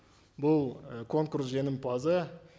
бұл ы конкурс жеңімпазы